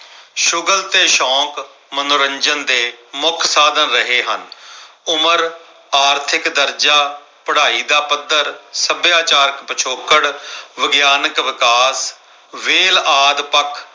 ਸ਼ੁਗਲ ਤੇ ਸ਼ੋਕ ਮਨੋਰੰਜਨ ਦੇ ਮੁੱਖ ਸਾਧਨ ਰਹੇ ਹਨ। ਉਮਰ ਆਰਥਿਕ ਦਰਜਾ, ਪੜਾਈ ਦਾ ਪੱਧਰ, ਸੱਭਿਆਚਾਰ ਪਿਛੋਕੜ, ਵਿਗਿਆਨਕ ਵਿਕਾਸ ਵੇਲ ਆਦਿ ਪੱਖ